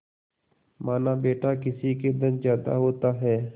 मानाबेटा किसी के धन ज्यादा होता है